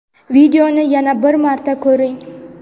videoni yana bir marta ko‘ring.